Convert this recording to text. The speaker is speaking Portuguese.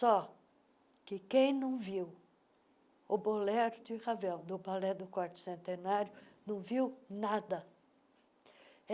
Só que quem não viu o bolero de Ravel, do Ballet do Quarto Centenário, não viu nada.